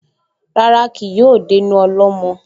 Rárá, kì yóò dénú ọlọ́mọ